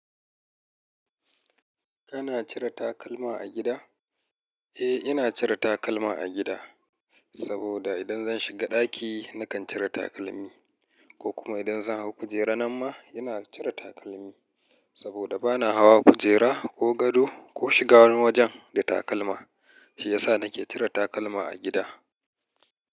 Kana cire takalma a gida? Eh, ina cire takalma a gida, saboda idan zan shiga ɗaki nakan cire takalmi, ko kuma idan zan hau kujera nama ina cire takalmi. Saboda bana hawa kujera ko gado ko shigar wani wajen da takalma, shi yasa nake cire takalma a gida.